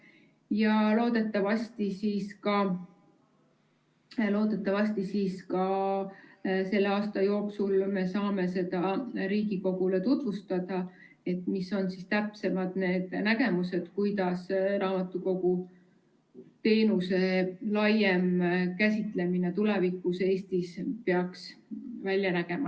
Ja loodetavasti selle aasta jooksul me saame seda Riigikogule tutvustada, mis on täpsemalt need nägemused, kuidas raamatukogu teenuse laiem käsitlemine tulevikus Eestis peaks välja nägema.